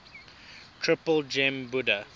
triple gem buddha